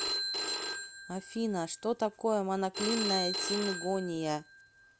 афина что такое моноклинная сингония